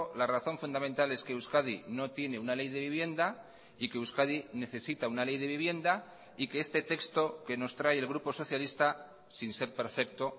la razón fundamental es que euskadi no tiene una ley de vivienda y que euskadi necesita una ley de vivienda y que este texto que nos trae el grupo socialista sin ser perfecto